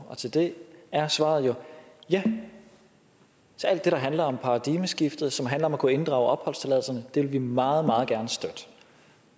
og til det er svaret jo ja så alt det der handler om paradigmeskiftet og som handler om at kunne inddrage opholdstilladelserne vil vi meget meget gerne støtte